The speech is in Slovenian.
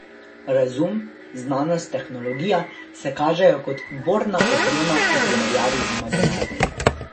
Razum, znanost, tehnologija se kažejo kot borna oprema v primerjavi z imaginarnim.